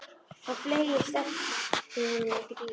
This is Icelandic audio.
Hann fleygist eftir honum út í bíl.